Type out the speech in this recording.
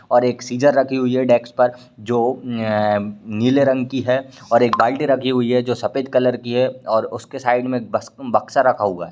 और एक सीजर रखी हुई है डेस्क पर जो एअ नीले रंग की है और एक बाल्टी रखी हुई है जो सफेद कलर की है और उसके साइड में बक्स-बक्सा रखा हुआ है।